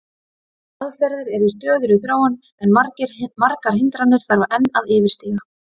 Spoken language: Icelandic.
Aðferðir eru í stöðugri þróun en margar hindranir þarf að enn yfirstíga.